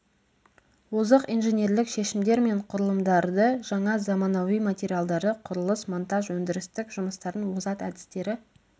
озық инженерлік шешімдер мен құрылымдарды жаңа заманауи материалдарды құрылыс монтаж өндірістік жұмыстардың озат әдістері